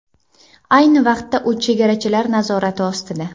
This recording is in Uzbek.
Ayni vaqtda u chegarachilar nazorati ostida.